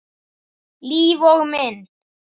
Líf og mynd